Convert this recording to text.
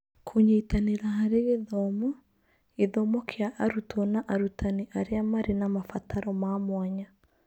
Kũnyitanĩra harĩ gĩthomo - gĩthomo kĩa arutwo na arutani arĩa marĩ na mabataro ma mwanya